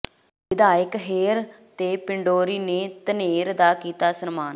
ਵਿਧਾਇਕ ਹੇਅਰ ਤੇ ਪੰਡੋਰੀ ਨੇ ਧਨੇਰ ਦਾ ਕੀਤਾ ਸਨਮਾਨ